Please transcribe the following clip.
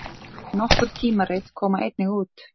Nokkur tímarit koma einnig út.